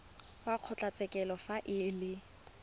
wa kgotlatshekelo fa e le